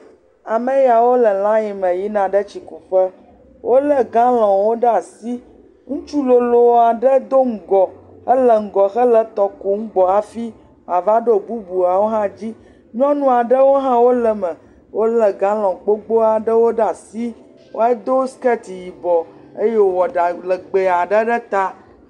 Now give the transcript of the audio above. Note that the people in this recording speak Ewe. Ame yawo le line me yina ɖe tsi ku ƒe. Wòle galɔnwo ɖe asi. Ŋutsu lolo aɖe Do ŋgɔ hele etɔ kum hafi woava ɖo bubuwo dzi. Nyɔnu aɖewo hã le eme. Wòle galɔn gbogbo aɖewo ɖe asi hedo sketi yibɔ eye wowɔ ɖa legbe aɖe ɖe ta.